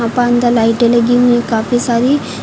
बंद लाइटें लगी हुई हैं काफी सारी--